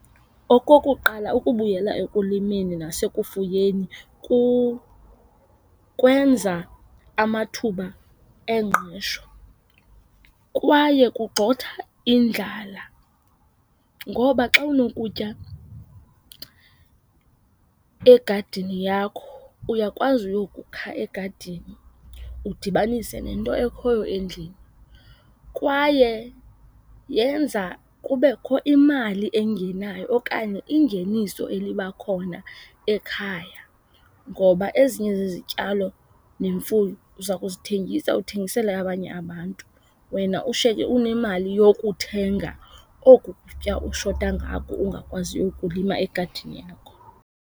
Okokuqala, ukubuyela ekulimeni nasekufuyeni kwenza amathuba engqesho kwaye kugxotha indlala ngoba xa unokutya egadini yakho uyakwazi uyokukha egadini, udibanise nento ekhoyo endlini. Kwaye yenza kubekho imali engenayo okanye ingeniso eliba khona ekhaya ngoba ezinye zezityalo nemfuyo uza kuzithengisa, uthengisele abanye abantu wena ushiyeke unemali yokuthenga oku kutya ushota ngako ungakwaziyo ukukulima egadini yakho.